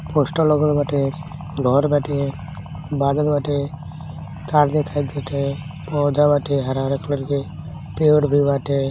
poster लगल बाटे घर बाटे बादल बाटे ताड़ दिखाई दे टाटे पौधा बाटे हरा हरा कलर के |